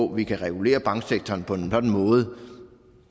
vi kan regulere banksektoren på en sådan måde